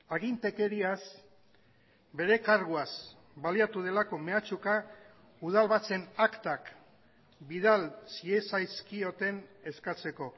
agintekeriaz bere karguaz baliatu delako mehatxuka udal batzen aktak bidal ziezazkioten eskatzeko